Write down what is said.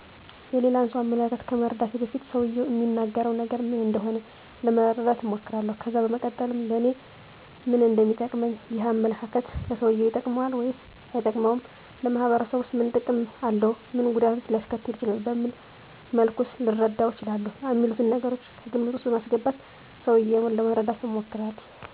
የሌላን ሰው አመለካከት ከመረዳቴ በፊት ሰውየው እሚናገረው ነገር ምን እንደሆነ ለመረዳት እሞክራለሁ ከዛ በመቀጠልም ለኔ ምን እንደሚጠቅመኝ፣ ይህ አመለካከት ለሰውየው ይጠቅመዋል ወይስ አይጠቅመውም፣ ለማህበረሰቡስ ምን ጥቅም አለው፣ ምን ጉዳትስ ሊያስከትል ይችላል፣ በምን መልኩስ ልረዳው እችላለሁ፣ አሚሉትን ነገሮች ከግምት ውስጥ በማስገባት ሰውየውን ለመርዳት እሞክራለሁ።